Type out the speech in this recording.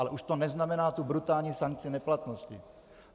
Ale už to neznamená tu brutální sankci neplatnosti.